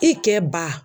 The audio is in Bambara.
I kɛ ba